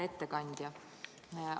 Hea ettekandja!